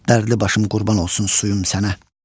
Dərdli başım qurban olsun suyum sənə.